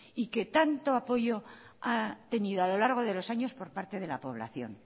y que tanto apoyo ha tenido a lo largo de los años por parte de la población